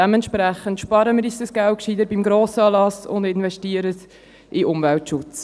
Dementsprechend sparen wir uns dieses Geld gescheiter beim Grossanlass und investieren es in den Umweltschutz.